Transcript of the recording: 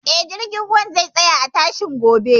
Eh, jirgin ruwan zai tsaya a tashar gobe